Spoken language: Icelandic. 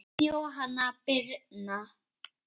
Þín Jóhanna Birna.